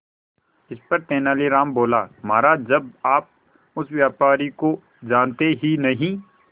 इस पर तेनालीराम बोला महाराज जब आप उस व्यापारी को जानते ही नहीं